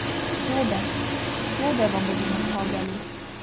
Hlode, hlode vam bodo nastavljali.